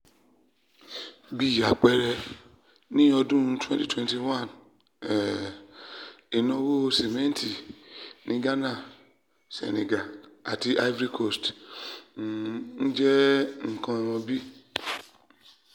bí àpẹẹrẹ ní ọdún twenty twenty one um ìnáwó simẹnti ní ghana senegal àti ivory coast um jẹ́ nǹkan bí